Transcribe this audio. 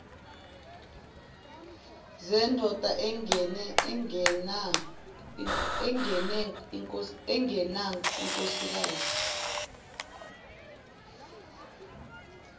zendoda engene inkosikazi